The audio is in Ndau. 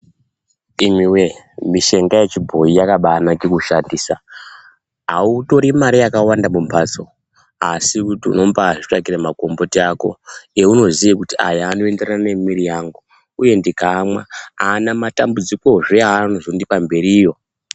Imwi wee mishonga yechibhoyi yakabanake kushandisa autori mare yakawanda yaunoshandisa mumbatso asi unotora makumbuti awunoziya kuti aya anoenderana nemuiri wangu uye ndikaamwa ana matambudziko anozondipa mberiyo.